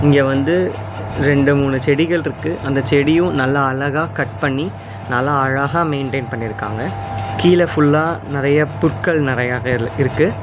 இங்க வந்து ரெண்டு மூணு செடிகள்ருக்கு அந்த செடியு நல்லா அழகா கட் பண்ணி நல்லா அழகா மெயின்டைன் பண்ணிருக்காங்க கீழ ஃபுல்லா நெறையா புற்கள் நெறையாக இல் இருக்கு.